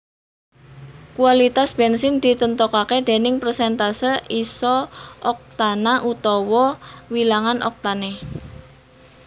Kualitas bènsin ditentoké déning presentase isooktana utawa wilangan oktané